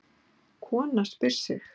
Kona spyr sig.